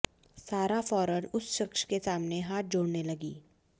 सारा फौरन उस शख्स के सामने हाथ जोड़ने लगीं